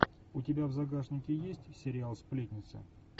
у тебя в загашнике есть сериал сплетница